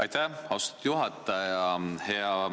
Aitäh, austatud juhataja!